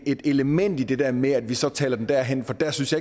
et element i det der med at vi så taler den derhen for der synes